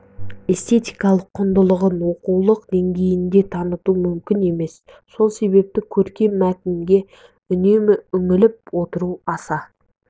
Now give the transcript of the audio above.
эстетикалық құндылығын оқулық деңгейінде таныту мүмкін емес сол себепті көркем мәтінге үнемі үңіліп отыру аса